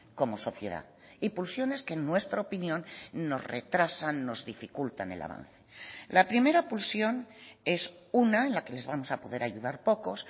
como sociedad y pulsiones que en nuestra opinión nos retrasan nos dificultan el avance la primera pulsión es una en la que les vamos a poder ayudar pocos